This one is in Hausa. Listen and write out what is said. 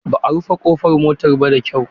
Ba a rufe kofar motar ba da kyau.